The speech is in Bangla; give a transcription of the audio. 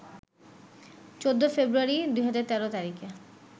১৪ ফেব্রুয়ারি, ২০১৩ তারিখে